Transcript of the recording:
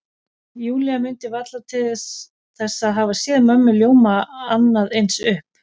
Júlía mundi varla til að hafa séð mömmu ljóma annað eins upp.